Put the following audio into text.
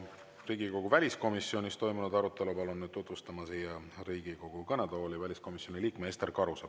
Riigikogu väliskomisjonis toimunud arutelu palun nüüd siia Riigikogu kõnetooli tutvustama väliskomisjoni liikme Ester Karuse.